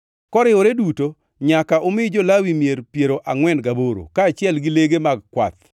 Koriwore duto nyaka umi jo-Lawi mier piero angʼwen gaboro, kaachiel gi lege mag kwath.